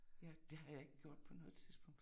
Ja, det har jeg ikke gjort på noget tidspunkt